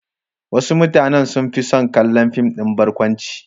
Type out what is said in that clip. Wasu mutanen sun fi son kallon fim ɗin barkwanci.